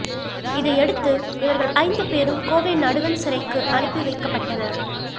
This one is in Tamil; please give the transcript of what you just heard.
இதையடுத்து இவர்கள ஐந்துபேரும் கோவை நடுவன் சிறைக்கு அனுப்பி வைக்கப்பட்டனர்